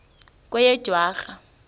kweyedwarha